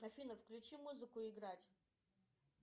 афина включи музыку играть